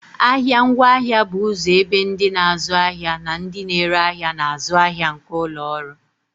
Ahịa ngwaahịa bụ ụzọ ebe ndị na-azụ ahịa na ndị na-ere ahịa na-azụ ahịa nke ụlọ ọrụ